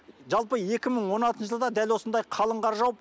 жалпы екі мың он алтыншы жылы да дәл осындай қалың қар жауып